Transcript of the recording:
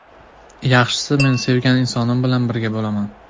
Yaxshisi, men sevgan insonim bilan birga bo‘laman.